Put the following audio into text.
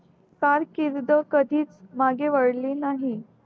फार किवडो कधीच मागे वळली नाही